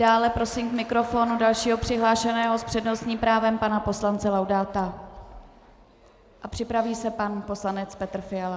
Dále prosím k mikrofonu dalšího přihlášeného s přednostním právem pana poslance Laudáta a připraví se pan poslanec Petr Fiala.